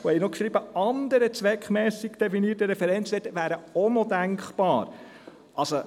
Es wurde geschrieben, dass «andere zweckmässige und definierte Referenzwert» auch denkbar wären.